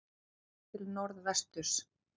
Séð til norðvesturs.